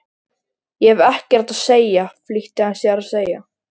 Ég hef ekkert að segja flýtti hann sér að segja.